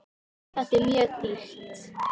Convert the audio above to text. Þetta er mjög dýrt.